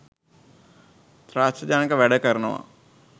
ත්‍රාසජනක වැඩ කරනවා.